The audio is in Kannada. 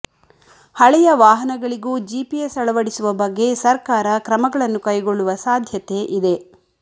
ಹಳೆಯ ವಾಹನಗಳಿಗೂ ಜಿಪಿಎಸ್ ಅಳವಡಿಸುವ ಬಗ್ಗೆ ಸರ್ಕಾರ ಕ್ರಮಗಳನ್ನು ಕೈಗೊಳ್ಳುವ ಸಾಧ್ಯತೆ ಇದೆ